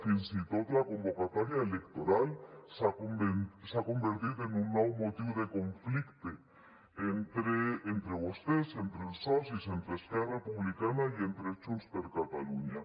fins i tot la convocatòria electoral s’ha convertit en un nou motiu de conflicte entre vostès entre els socis entre esquerra republicana i junts per catalunya